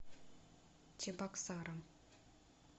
чебоксарам